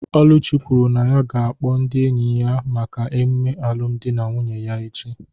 Oluchi kwuru na ya ga-akpọ ndị enyi ya maka emume alụmdi na nwunye ya echi